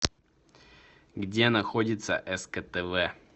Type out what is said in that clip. где находится сктв